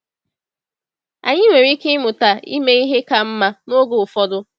Anyị nwere ike ịmụta ime ihe ka mma n’oge ụfọdụ.